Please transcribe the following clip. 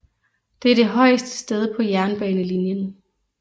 Det er det højeste sted på jernbanelinjen